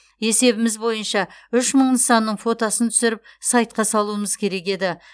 есебіміз бойынша үш мың нысанның фотосын түсіріп сайтқа салуымыз керек еді